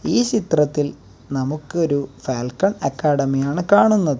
ഈ ചിത്രത്തിൽ നമുക്കൊരു ഫാൽക്കൺ അക്കാഡമി ആണ് കാണുന്നത്.